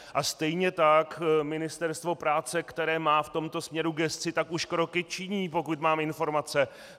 A stejně tak Ministerstvo práce, které má v tomto směru gesci, tak už kroky činí, pokud mám informace.